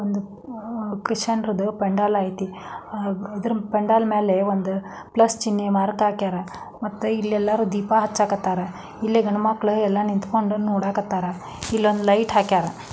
ಒಂದು ಒಂದು ಕ್ರಿಶ್ಚಿಯನ್ರುದು ಪೆಂಡಲ್ ಐತಿ ದೃಪೆಂಡಲ್ ಮೇಲೆ ಒಂದು ಪ್ಲಸ್ ಚಿನ್ಹೆ ಮಾರ್ಕ್ ಹಾಕ್ಯಾರ ಮತ್ತೆ ಇಲ್ಲಿ ಎಲ್ಲರು ದೀಪ ಹಚ್ಚ ಕತ್ತಾರ ಇಲ್ಲಿ ಗಂಡು ಮಕ್ಕಳು ಎಲ್ಲ ನಿಂತ್ಕೊಂಡು ನೋಡಕ್ ಹತಾರ ಇಲ್ಲಿ ಒಂದು ಲೈಟ್ ಹಾಕ್ಯಾರ--